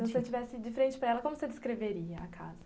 Se você estivesse de frente para ela, como você descreveria a casa?